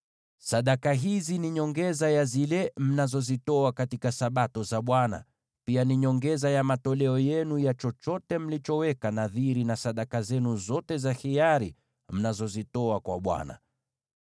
Sadaka hizi ni nyongeza ya zile mnazozitoa katika Sabato za Bwana , na pia ni nyongeza ya matoleo yenu ya chochote mlichoweka nadhiri, na sadaka zenu zote za hiari mnazozitoa kwa Bwana .)